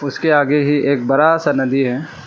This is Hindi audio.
उसके आगे ही एक बड़ा सा नदी है।